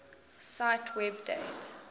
cite web date